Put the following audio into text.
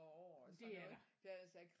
Men det er der